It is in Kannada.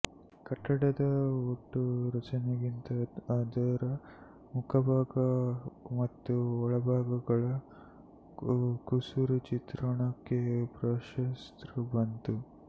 ಕಟ್ಟಡದ ಒಟ್ಟು ರಚನೆಗಿಂತ ಅದರ ಮುಖಭಾಗ ಮತ್ತು ಒಳಭಾಗಗಳ ಕುಸುರಿಚಿತ್ರಣಕ್ಕೆ ಪ್ರಾಶಸ್ತ್ಯಬಂತು